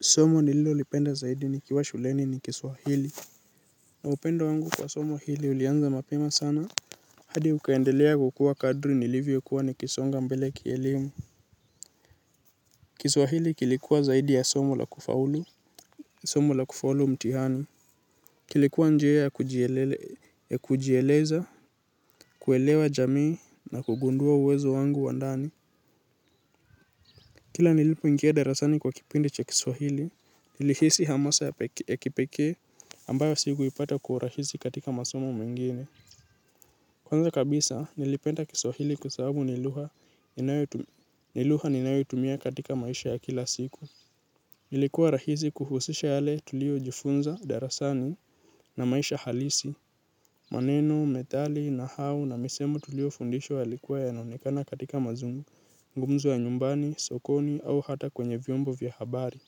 Somo nililo lipenda zaidi ni kiwa shuleni ni kiswahili. Na upendo wangu kwa somo hili ulianza mapema sana. Hadi ukaendelea kukuwa kadri nilivyo kuwa ni kisonga mbele kielimu. Kiswahili kilikuwa zaidi ya somo la kufaulu. Somo la kufaulu mtihani kilikuwa njia ya kujieleza kuelewa jamii na kugundua uwezo wangu wa ndani. Kila nilipoingia darasani kwa kipindi cha kiswahili, nilihisi hamasa ya kipekee ambayo sikuipata kwa urahisi katika masomo mengine. Kwanza kabisa, nilipenda kiswahili kwa sababu ni lugha niluh ninayo tumia katika maisha ya kila siku. Ilikuwa rahisi kuhusisha yale tulio jifunza darasani na maisha halisi. Maneno, methali, nahau na misemo tulio fundishwa yalikuwa yanaonekana katika mazungumzo ya nyumbani, sokoni au hata kwenye vyombo vya habari.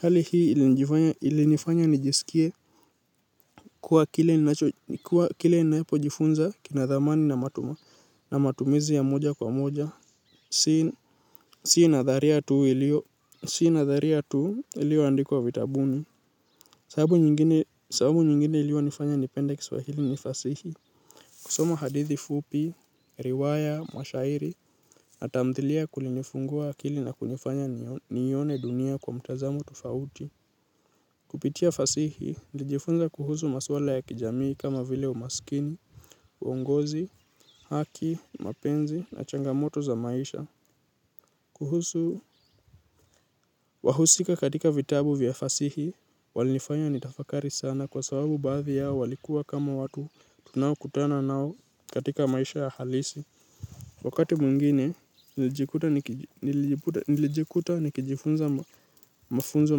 Hali hii ilinifanya nijisikie kuwa kile ninapojifunza kina dhamani na matumizi ya moja kwa moja. Si natharia tu ilio andikwa vitabuni. Sababu nyingine iliyo nifanya nipenda kiswahili ni fasihi. Kusoma hadithi fupi, riwaya, mashairi, na tamthilia kulinifungua akili na kunifanya nione dunia kwa mtazamo tofauti. Kupitia fasihi, nijifunza kuhusu maswala ya kijamii kama vile umaskini, uongozi, haki, mapenzi, na changamoto za maisha. Kuhusu wahusika katika vitabu vya fasihi, walinifanya nitafakari sana kwa sababu baadhi yao walikuwa kama watu tunaokutana nao katika maisha ya halisi. Wakati mwingine, nilijikuta nikijifunza mafunzo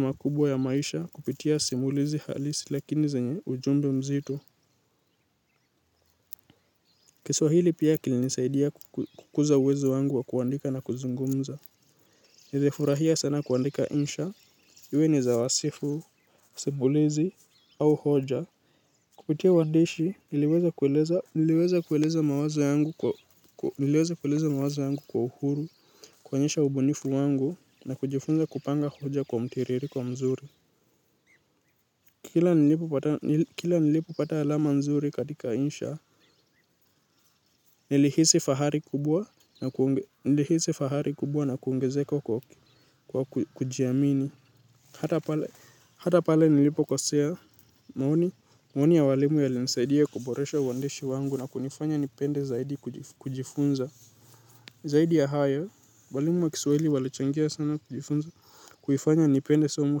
makubwa ya maisha kupitia simulizi halisi lakini zenye ujumbe mzito. Kiswahili pia kilinisaidia kukuza uwezo wangu wa kuandika na kuzungumza. Nilifurahia sana kuandika insha, iwe ni za wasifu, simulizi au hoja. Kupitia wandishi niliweza kueleza mawazo yangu kwa uhuru kuo nyesha ubunifu wangu na kujifunza kupanga hoja kwa mtiririko mzuri. Kila nilipo pata alama nzuri katika insha nilihisi fahari kubwa na kuongezeko kwa kujiamini. Hata pale nilipo kosea maoni, maoni ya walimu yalinsaidia kuboresha uhandishi wangu na kunifanya nipende zaidi kujifunza. Zaidi ya hayo, walimu wa kiswahili walichangia sana kuifanya nipende somi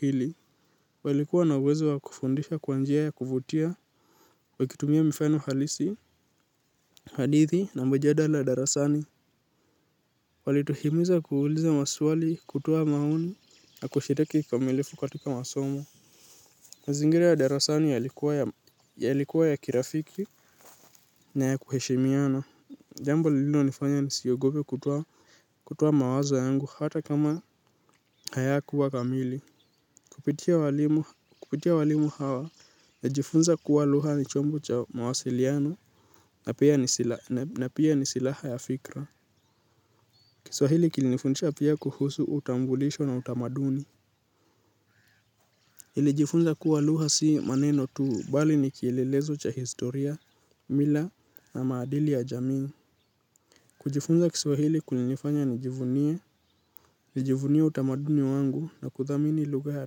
hili walikuwa na uwezo wa kufundisha kwa njia ya kuvutia wakitumia mfano halisi hadithi na mijadala darasani. Walituhimiza kuuliza maswali kutoa maoni na kushiriki kamilifu katika masomo. Zingira ya darasani yalikuwa ya kirafiki na ya kuheshimiana. Jambo lilo nifanya nisiogope kutoa mawaza yangu hata kama haya kuwa kamili. Kupitia walimu hawa na jifunza kuwa lugha ni chombo cha mawasiliano na pia ni silaha ya fikra. Kiswahili kilinifundisha pia kuhusu utambulisho na utamaduni nili jifunza kuwa lugha si maneno tu bali ni kilelezo cha historia, mila na maadili ya jamii. Kujifunza kiswahili kulinifanya nijivunie, nijivunie utamaduni wangu na kuthamini lugha ya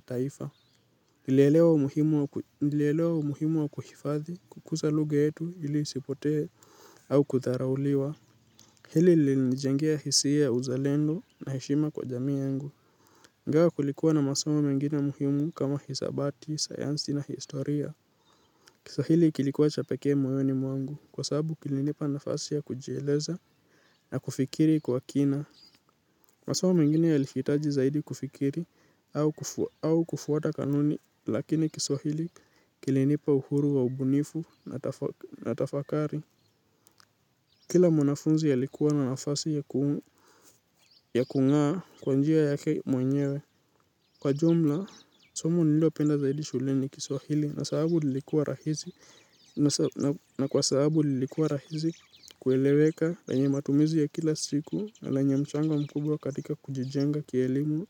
taifa. Nilelewa umuhimu wa kuhifadhi kukuza lugha yetu ili isipotee au kudharauliwa. Hili li nijangia hisia uzalendo na heshima kwa jamii yangu ingawa kulikuwa na masomo mengine muhimu kama hisabati, sayansi na historia. Kiswahili kilikuwa cha peke moyoni mwangu kwasabu kilinipa nafasi ya kujieleza na kufikiri kwa kina. Masomo mingine yalihitaji zaidi kufikiri au kufuata kanuni lakini kiswahili kilinipa uhuru wa ubunifu na tafakari. Kila mwanafunzi alikuwa na nafasi ya kungaa kwa njia yake mwenyewe. Kwa jumla, somo nilio penda zaidi shuleni kiswahili na kwa sababu lilikuwa rahisi kueleweka lenye matumizi ya kila siku na lenye mchango mkubwa katika kujijenga kielimu.